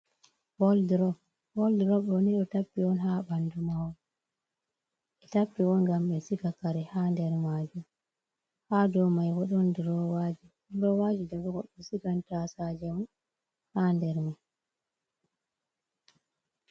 Woodrob on ɗo tappi on haa banndu mahol. Ɓe tappi on ngam ɓe ciga kare haa nder maajum. Haa dow may bo ɗon duroowaaji. Duroowaaji, daga ''gold'' ɓe sigan taasaaje mum haa nder may.